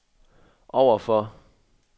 overfor